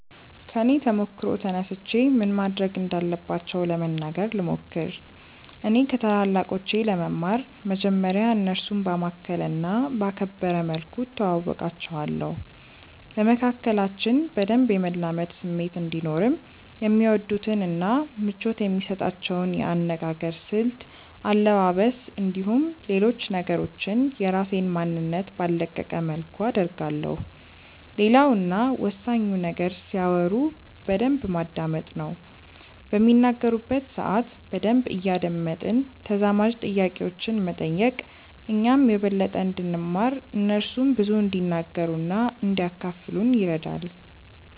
ከኔ ተሞክሮ ተነስቼ ምን ማድረግ እንዳለባቸው ለመናገር ልሞክር። እኔ ከታላላቆቼ ለመማር መጀመርያ እነርሱን ባማከለ እና ባከበረ መልኩ እተዋወቃቸዋለሁ። በመካከላችን በደንብ የመላመድ ስሜት እንዲኖርም የሚወዱትን እና ምቾት የሚሰጣቸውን የአነጋገር ስልት፣ አለባበስ፣ እንዲሁም ሌሎች ነገሮችን የራሴን ማንነት ባልለቀቀ መልኩ አደርጋለሁ። ሌላው እና ወሳኙ ነገር ሲያወሩ በደንብ ማዳመጥ ነው። በሚናገሩበት ሰአት በደንብ እያደመጥን ተዛማጅ ጥያቄዎችን መጠየቅ እኛም የበለጠ እንድንማር እነርሱም ብዙ እንዲናገሩ እና እንዲያካፍሉን ይረዳል።